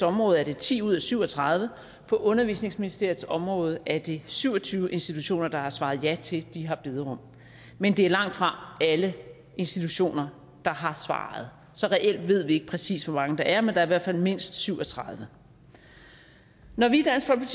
område er det ti ud af syv og tredive institutioner på undervisningsministeriets område er det syv og tyve institutioner der har svaret ja til at de har bederum men det er langtfra alle institutioner der har svaret så reelt ved vi ikke præcis hvor mange der er men der er i hvert fald mindst syv og tredive når vi